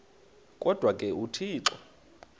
kodwa ke uthixo